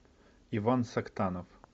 иван сактанов